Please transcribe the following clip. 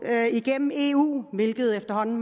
igennem eu hvilket efterhånden